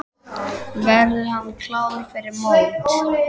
Verður hann klár fyrir mót?